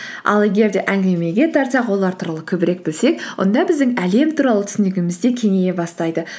ал егер де әңгімеге тартсақ олар туралы көбірек білсек онда біздің әлем туралы түсінігіміз де кеңейе бастайды